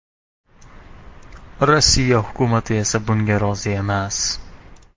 Rossiya hukumati esa bunga rozi emas.